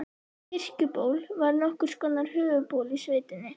Kirkjuból var nokkurs konar höfuðból í sveitinni.